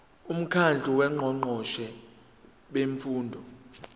umkhandlu wongqongqoshe bemfundo